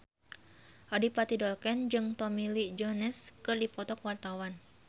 Adipati Dolken jeung Tommy Lee Jones keur dipoto ku wartawan